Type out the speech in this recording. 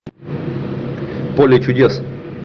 поле чудес